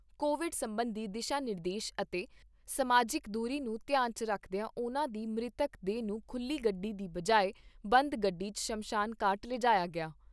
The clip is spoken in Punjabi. ਕੋਵਿਡ ਸਬੰਧੀ ਦਿਸ਼ਾ ਨਿਰਦੇਸ਼ ਅਤੇ ਸਮਾਜਿਕ ਦੂਰੀ ਨੂੰ ਧਿਆਨ 'ਚ ਰੱਖਦਿਆਂ ਉਨ੍ਹਾਂ ਦੀ ਮ੍ਰਿਤਕ ਦੇਹ ਨੂੰ ਖੁੱਲੀ ਗੱਡੀ ਦੀ ਬਜਾਏ, ਬੰਦ ਗੱਡੀ 'ਚ ਸ਼ਮਸ਼ਾਨ ਘਾਟ ਲਿਜਾਇਆ ਗਿਆ।